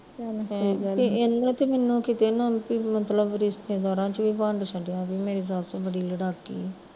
ਸਹੀ ਗੱਲ ਐ ਤੇ ਇਹਨਾਂ ਤਾਂ ਮੈਨੂੰ ਕਿਤੇ ਨਾ ਮਤਲਬ ਰਿਸ਼ਤੇਦਾਰਾਂ ਚ ਵੀ ਵੰਡ ਛੱਡਿਆ ਜੇ ਮੇਰੀ ਸੱਸ ਬੜੀ ਲੜਾਕੀ ਐ